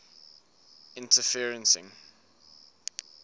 interferencing